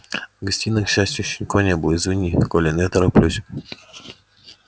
в гостиной к счастью ещё никого не было извини колин я тороплюсь